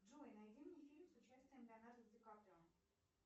джой найди мне фильм с участием леонардо ди каприо